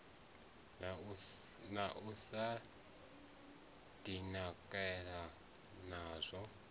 na u sa dibadekanya nazwo